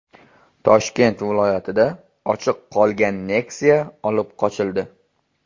Toshkent viloyatida ochiq qolgan Nexia olib qochildi.